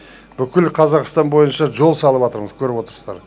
бүкіл қазақстан бойынша жол салыватырмыз көріп отырсыздар